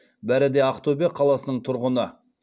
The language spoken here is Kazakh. бәрі де ақтөбе қаласының тұрғыны